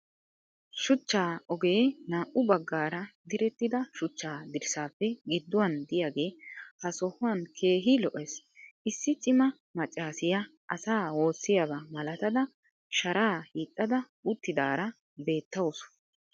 shuchcha ogee naau bagaara direttida shuchcha dirsaappe gidduwan diyage ha sohuwan keehi lo'ees. issi cimma macaassiya asaa woosiyaba malatada sharaa hiixxada uttidaara beettawusu.